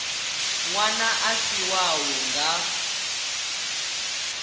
ṅwana a si wau nga